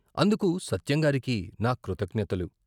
అందుకు సత్యంగారికి నా కృతజ్ఞతలు....